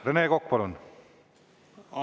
Rene Kokk, palun!